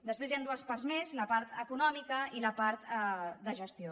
després hi han dues parts més la part econòmica i la part de gestió